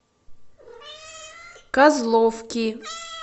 козловки